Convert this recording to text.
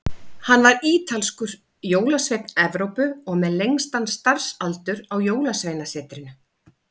Hann var ítalskur, jólasveinn Evrópu, og með lengstan starfsaldur á Jólasveinasetrinu.